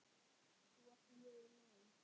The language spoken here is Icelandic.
Þú varst mjög næm.